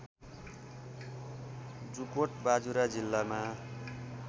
जुकोट बाजुरा जिल्लामा